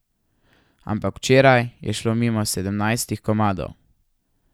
Ampak včeraj je šlo mimo sedemnajst komadov.